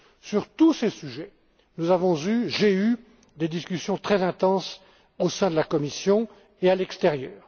Sur tous ces sujets, nous avons mené des discussions très intenses au sein de la Commission et à l'extérieur.